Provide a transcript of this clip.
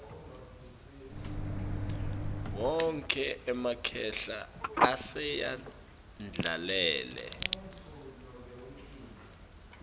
wonkhe emakhehla asayendlalele